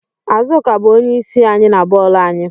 Azuka bu onye isi anyị na boolu anyị